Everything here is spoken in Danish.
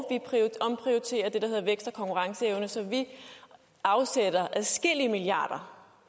konkurrenceevne så vi afsætter adskillige milliarder